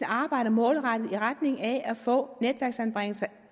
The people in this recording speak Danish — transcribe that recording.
arbejder målrettet i retning af at få netværksanbringelser